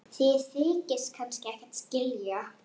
Þið þykist kannski ekkert skilja?